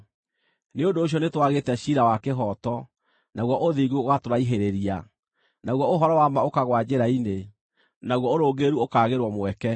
Nĩ ũndũ ũcio nĩtwagĩte ciira wa kĩhooto, naguo ũthingu ũgatũraihĩrĩria; naguo ũhoro wa ma ũkagũa njĩra-inĩ, naguo ũrũngĩrĩru ũkaagĩrwo mweke.